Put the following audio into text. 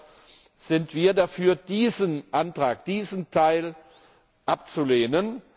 Deshalb sind wir dafür, diesen Antrag, diesen Teil abzulehnen.